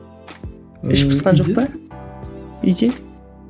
іш пысқан жоқ па үйде